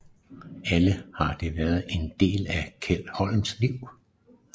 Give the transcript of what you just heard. Alle har de været en del af Kjeld Holms liv